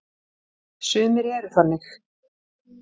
Sumir eru þannig.